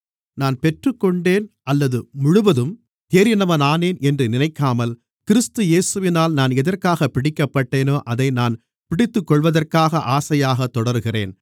நான் பெற்றுக்கொண்டேன் அல்லது முழுவதும் தேறினவனானேன் என்று நினைக்காமல் கிறிஸ்து இயேசுவினால் நான் எதற்காகப் பிடிக்கப்பட்டேனோ அதை நான் பிடித்துக்கொள்வதற்காக ஆசையாகத் தொடருகிறேன்